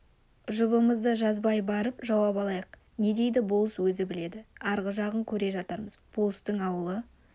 жұбымызды жазбай барып жауап алайық не дейді болыс өзі біледі арғы жағын көре жатармыз болыстың ауылы